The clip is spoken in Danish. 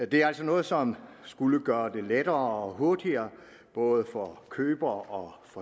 det er altså noget som skulle gøre det lettere og hurtigere både for køber og